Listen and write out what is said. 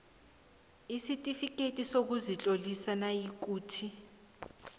isitifikhethi sokuzitlolisa nayikuthi